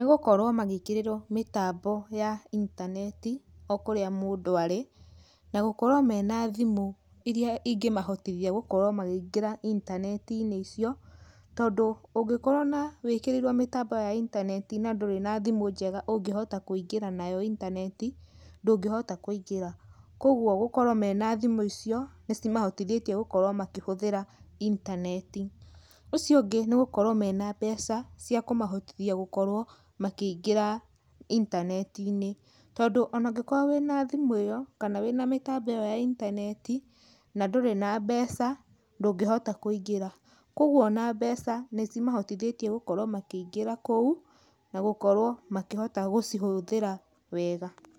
Nĩ gũkorwo magĩkĩrĩrwo mĩtambo ya intaneti okũrĩa mũndũ arĩ na gũkorwo mena thimũ irĩa ingĩmahotithia gũkorwo makĩingĩra intaneti icio, tondũ ũngĩkorwo na wĩkĩrĩirwo mĩtambo ya intaneti na ndũrĩ na thimũ njega ũngĩhota kũingĩra nayo intaneti ndũngĩhota kũingĩra, kwoguo gũkorwo mena thimũ icio nĩcimahotithĩtie gũkorwo makorwo makĩhũthĩra intaneti, ũcio ũngĩ nĩ gũkorwo mena mbeca cia kũmahotithia makorwo makĩingĩra intanetinĩ, tondũ ona ũngĩkorwo wĩna thimũ ĩyo kana wĩna mĩtambo iyo ya intaneti na ndũrĩ na mbeca ndũngĩhota kũingĩra, kwoguo ona mbeca nĩcimahotetie makorwe makĩingĩra kũu na gũkorwo makĩhota gũcihũthĩra wega.